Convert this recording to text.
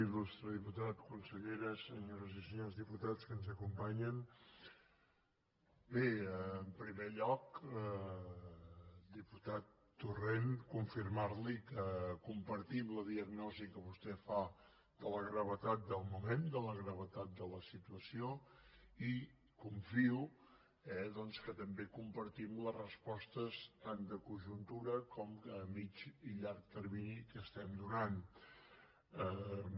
il·lustre diputat consellera senyores i senyors diputats que ens acompanyen bé en primer lloc diputat torrent confirmar li que compartim la diagnosi que vostè fa de la gravetat del moment de la gravetat de la situació i confio eh doncs que també compartim les respostes tant de conjuntura com de mitjà i llarg termini que donem